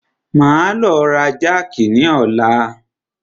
Máa lọ ra jákì ni ọ̀la.